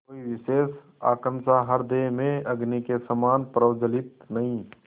कोई विशेष आकांक्षा हृदय में अग्नि के समान प्रज्वलित नहीं